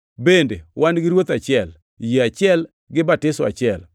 bende wan gi Ruoth achiel, yie achiel, gi batiso achiel;